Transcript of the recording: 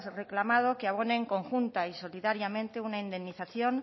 reclamado que abonen conjunta y solidariamente una indemnización